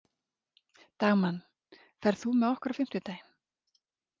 Dagmann, ferð þú með okkur á fimmtudaginn?